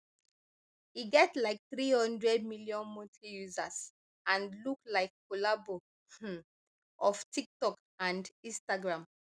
e get like three hundred million monthly users and look like collabo um of tiktok and instagram